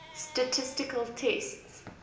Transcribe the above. statistical tests